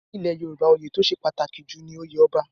Ní ilẹ̀ Yorùbá, oyè tó ṣe pàtàkì jù ni oyè Ọba.